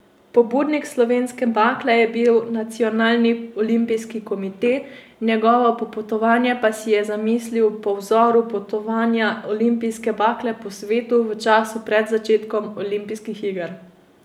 Pobudnik slovenske bakle je bil nacionalni olimpijski komite, njeno popotovanje pa si je zamislil po vzoru potovanja olimpijske bakle po svetu v času pred začetkom olimpijskih iger.